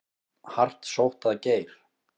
Hart sótt að Geir